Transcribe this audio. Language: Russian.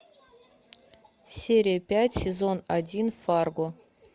серия пять сезон один фарго